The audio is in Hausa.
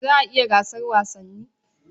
Za a yi gasar wasannin?